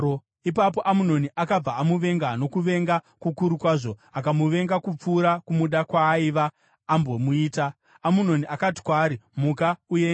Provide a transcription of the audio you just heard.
Ipapo Amunoni akabva amuvenga nokuvenga kukuru kwazvo, akamuvenga kupfuura kumuda kwaaiva ambomuita. Amunoni akati kwaari, “Muka uende!”